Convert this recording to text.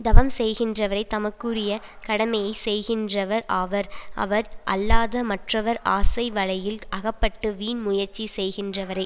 தவம் செய்கின்றவரே தமக்குரிய கடமையை செய்கின்றவர் ஆவர் அவர் அல்லாத மற்றவர் ஆசை வலையில் அகப்பட்டு வீண் முயற்சி செய்கின்றவரே